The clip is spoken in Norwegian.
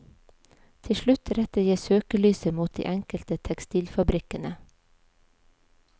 Til slutt retter jeg søkelyset mot de enkelte tekstilfabrikkene.